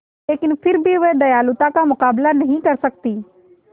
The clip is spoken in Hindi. लेकिन फिर भी वह दयालुता का मुकाबला नहीं कर सकती